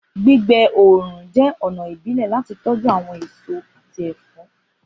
Gbigbe oorun jẹ ọna ibile lati tọju awọn eso ati ẹfọ